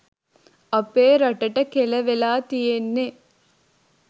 අපේ රටට කෙලවෙලා තියෙන්නේ.